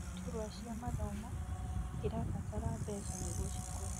Iturwa cia mathomo irabatara mbeca nĩguo cikũre